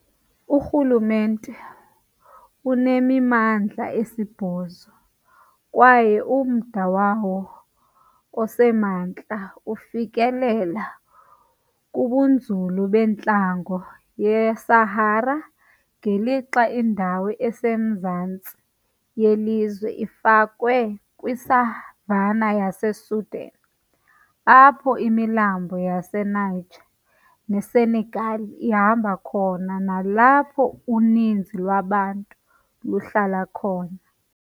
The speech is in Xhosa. Urhulumente unemimandla esibhozo, kwaye umda wawo osemantla ufikelela kubunzulu bentlango yeSahara, ngelixa indawo esemazantsi yelizwe ifakwe kwi-savannah yaseSudan, apho imilambo yaseNiger neSenegal ihamba khona, nalapho uninzi lwabantu luhlala khona.